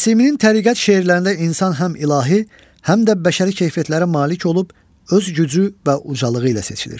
Nəsiminin təriqət şeirlərində insan həm ilahi, həm də bəşəri keyfiyyətlərə malik olub öz gücü və ucalığı ilə seçilir.